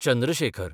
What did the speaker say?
Chandra Shekhar